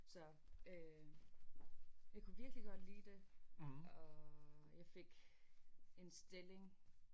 Så øh jeg kunne virkelig godt lide det og jeg fik en stilling